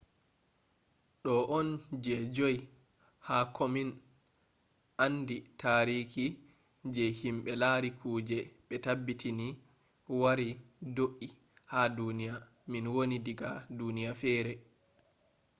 ɗo on je joi ha komin andi taariki je himɓe lari kuje ɓe tabbitini wari do’i ha duniya min woni diga duniya fere